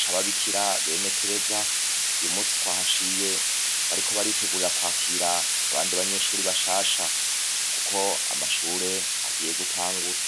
c'ababikira bene tereza uyumunsi twahaciye bariko baritegurira kwakira abandi banyeshuri bashasha kuko amashure agiye gutangura.